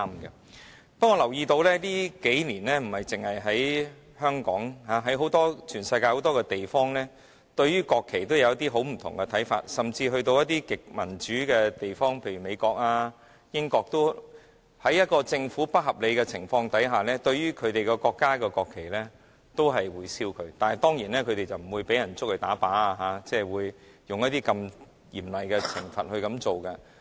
不過，我留意到近年，不單在香港，在全世界很多地方，人民對國旗都有一些不同的看法，甚至在一些極為民主的地方，例如美國和英國，在政府行事不合理的情況下，市民亦會燒毀自己國家的國旗，但他們當然不會被捉去槍斃，不會受到這麼嚴厲的懲罰。